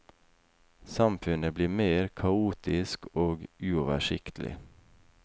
Samfunnet blir mer kaotisk og uoversiktlig.